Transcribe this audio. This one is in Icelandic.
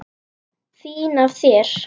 Fín af þér.